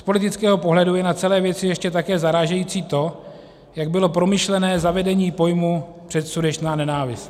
Z politického pohledu je na celé věci ještě také zarážející to, jak bylo promyšlené zavedení pojmu "předsudečná nenávist".